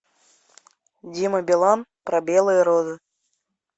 дима билан про белые розы